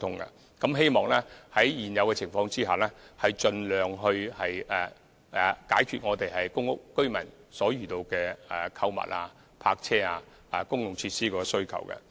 我們希望在現有的情況下，盡量解決公屋居民在購物、泊車及公共設施方面的需求。